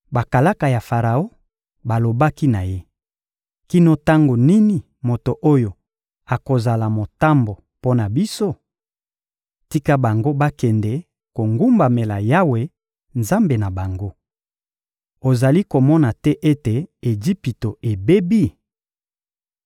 Bakalaka ya Faraon balobaki na ye: — Kino tango nini moto oyo akozala motambo mpo na biso? Tika bango bakende kogumbamela Yawe, Nzambe na bango. Ozali komona te ete Ejipito ebebi?